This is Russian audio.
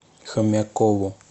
хомякову